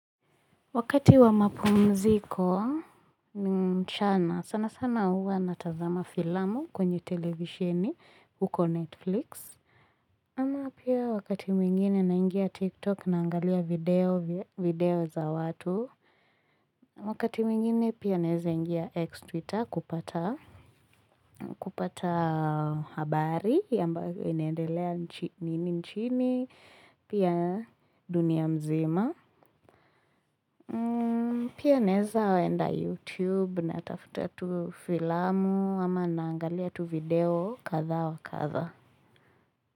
Wakati wa mapumziko mchana sana sana huwa natazama filamu kwenye televisheni huko netflix. Ama pia wakati mwingine naingia tiktok naangalia video vy video za watu. Wakati mwingine pia naeza ingia ex twitter kupata kupata habari yambavyo inaendelea nchini nchini pia dunia mzima. Pia naeza enda YouTube natafuta tu filamu ama naangalia tu video kadha wa kadha.